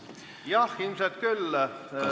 Jah, ilmselt küll.